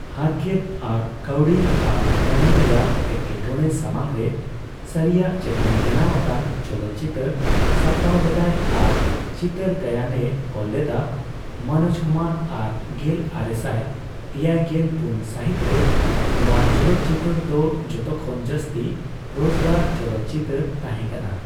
ᱦᱟᱨᱠᱮᱛ ᱟᱨ ᱠᱟᱹᱣᱰᱤ ᱟᱨ ᱢᱚᱱᱮ ᱨᱮᱭᱟᱜ ᱮᱴᱠᱮᱴᱚᱬᱮ ᱥᱟᱢᱟᱝ ᱨᱮ ᱥᱟᱹᱨᱤᱭᱟᱜ ᱪᱮᱛᱟᱱ ᱵᱮᱱᱟᱣ ᱟᱠᱟᱱ ᱪᱚᱞᱚᱛ ᱪᱤᱛᱟᱹᱨ ᱥᱟᱯᱲᱟᱣ ᱞᱮᱫᱟᱭ ᱟᱨ ᱪᱤᱛᱟᱹᱨ ᱜᱟᱭᱟᱱᱮ ᱚᱞ ᱞᱮᱫᱟ ᱢᱳᱱᱚᱡ ᱠᱩᱢᱟᱨ ᱟᱨ ᱜᱮᱞ ᱟᱨᱮᱥᱟᱭ ᱮᱭᱟᱭᱜᱮᱞ ᱯᱩᱱ ᱥᱟᱹᱦᱤᱛ ᱨᱮ ᱱᱚᱣᱟ ᱪᱚᱞᱚᱛᱪᱤᱛᱟᱹᱨ ᱫᱚ ᱡᱚᱛᱚ ᱠᱷᱚᱱ ᱡᱟᱹᱥᱛᱤ ᱨᱚᱡᱜᱟᱨ ᱪᱚᱞᱚᱛ ᱪᱤᱛᱟᱹᱨ ᱛᱟᱦᱮᱸᱠᱟᱱᱟ ᱾